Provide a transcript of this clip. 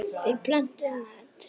Þeir pöntuðu mat.